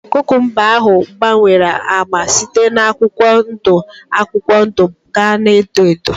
Kukumba ahụ gbanwere ágbá site na akwụkwọ ndụ akwụkwọ ndụ gaa na edo edo